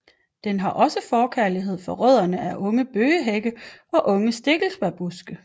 Den har også forkærlighed for rødderne fra unge bøgehække og unge stikkelsbærbuske